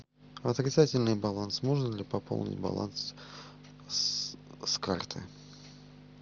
отрицательный баланс можно ли пополнить баланс с карты